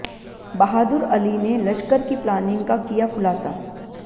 बहादुर अली ने लश्कर की प्लानिंग का किया खुलासा